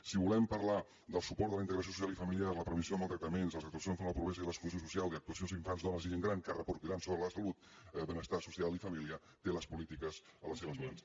si volem parlar del suport de la integra·ció social i familiar la prevenció de maltractaments les actua cions contra la pobresa i l’exclusió social i actuacions en infants dones i gent gran que reper·cutiran sobre la salut benestar social i família té les polítiques a les seves mans